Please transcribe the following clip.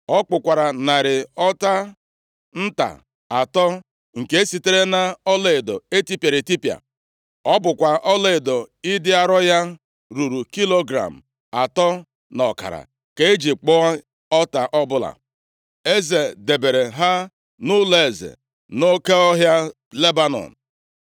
Ọ kpụkwara narị ọta nta atọ, nke sitere na ọlaedo etipịara etipịa. Ọ bụ ọlaedo ịdị arọ ya ruru kilogram atọ na ọkara ka eji kpụọ ọta ọbụla. Eze debere ha nʼụlọeze nʼOke Ọhịa Lebanọn.